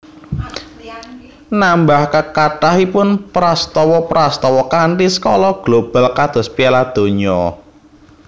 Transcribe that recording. Nambah kathahipun prastawa prastawa kanthi skala global kados Piala Donya